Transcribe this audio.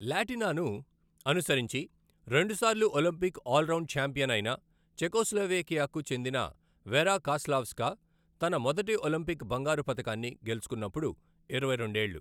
లాటినినాను అనుసరించి రెండుసార్లు Olympic all round champion అయిన చెకోస్లోవేకియాకు చెందిన వెరా కాస్లావ్స్కా, తన మొదటి ఒలింపిక్ బంగారు పతకాన్ని గెలుచుకున్నప్పుడు ఇరవై రెండు ఏళ్ళు .